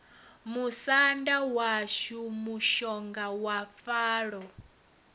musanda washu mushonga wa falo